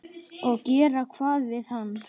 Og gera hvað við hann?